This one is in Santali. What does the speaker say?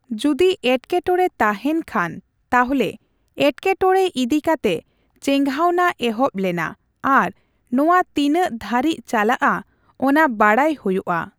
ᱡᱚᱫᱤ ᱮᱴᱠᱮᱴᱚᱲᱮ ᱛᱟᱦᱮᱸᱱ ᱠᱷᱟᱱ, ᱛᱟᱦᱚᱞᱮ ᱮᱴᱠᱮᱴᱚᱲᱮ ᱤᱫᱤᱠᱟᱛᱮ ᱪᱮᱜᱷᱟᱣᱱᱟ ᱮᱦᱚᱵ ᱞᱮᱱᱟ ᱟᱨ ᱱᱚᱣᱟ ᱛᱤᱱᱟᱹᱜ ᱫᱷᱟᱹᱨᱤᱡ ᱪᱟᱞᱟᱜᱼᱟ ᱚᱱᱟ ᱵᱟᱰᱟᱭ ᱦᱳᱭᱳᱜᱼᱟ ᱾